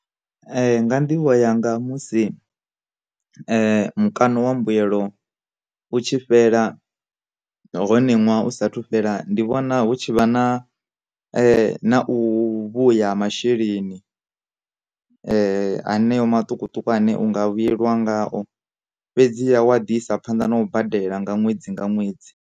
Nga nḓivho yanga musi mukano wa mbuyelo utshi fhela hone ṅwaha u sathu fhela, ndi vhona hu tshi vha na na u vhuya masheleni haneyo maṱukuṱuku ane unga vhuyelwa ngaho, fhedziha wa ḓi isa phanḓa na u badela nga ṅwedzi nga ṅwedzi.